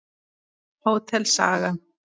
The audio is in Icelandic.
Hótel Saga.